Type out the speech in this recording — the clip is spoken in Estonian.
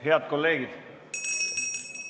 Head kolleegid!